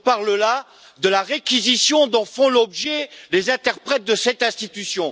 Je parle là de la réquisition dont font l'objet les interprètes de cette institution!